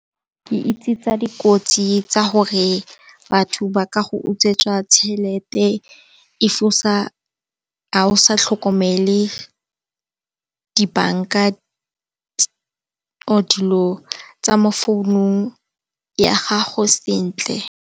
Ke itse tsa dikotsi tsa gore batho ba ka go utswetsa tšhelete ga o sa tlhokomele dibanka or dilo tsa mo founung ya gago sentle.